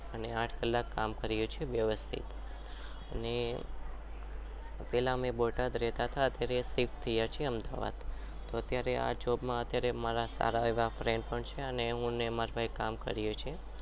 અને આઠ કલાક કામ કરીએ છીએ વ્યવ્સ્તીઠ